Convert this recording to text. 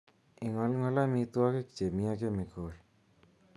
Ingolngol amitwogik chemi ak chemical